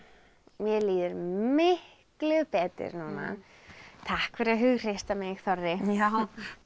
mér líður miklu betur núna takk fyrir að hughreysta mig Þorri já til